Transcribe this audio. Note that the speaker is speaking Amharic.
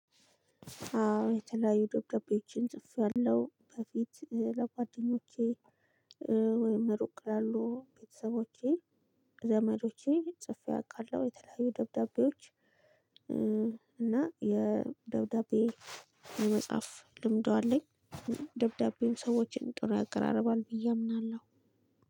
አዎ የተለያዩ ደብዳቤዎችን ጽፌያለሁ በፊት ለጓደኞቼ ወይም ሩቅ ላሉ ቤተሰቦቼ ዘመዶቼ ጽፌ አውቃለሁ የተለያዩ ደብዳቤዎች እና የደብዳቤ የመጻፍ ልምዱ አለኝ። ደብዳቤም ሰዎችን ጥሩ ያቀራርባል ብዬ አምናለሁ።